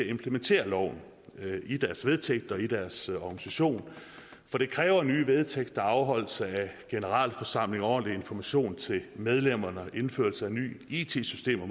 implementere loven i deres vedtægter og i deres organisation for det kræver nye vedtægter og afholdelse af generalforsamling og ordentlig information til medlemmerne samt indførelse af nye it systemer